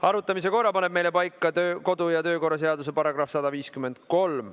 Arutamise korra paneb meil paika kodu‑ ja töökorra seaduse § 153.